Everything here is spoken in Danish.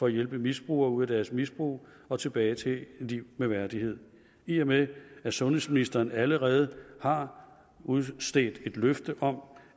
at hjælpe misbrugere ud af deres misbrug og tilbage til et liv med værdighed i og med at sundhedsministeren allerede har udstedt et løfte om